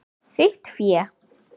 Þitt fé.